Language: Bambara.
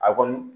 A kɔni